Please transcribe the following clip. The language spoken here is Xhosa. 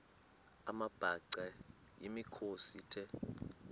amabhaca yimikhosi the